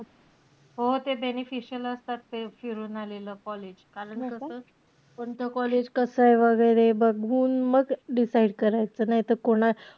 हो ते beneficial असतात. ते फिरून आलेलं college कारण कसं कोणतं college कसंय वगैरे बघून, मग decide करायचं. नाही त कोणा,